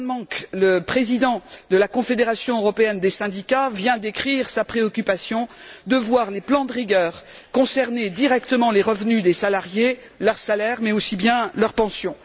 John Monks, le président de la Confédération européenne des syndicats, vient d'écrire sa préoccupation de voir les plans de rigueur concerner directement les revenus des salariés, leurs salaires mais aussi leurs pensions.